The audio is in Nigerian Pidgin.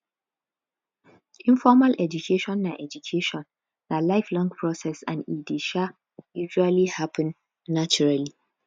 informal education na education na life long process and e dey um usally happen naturally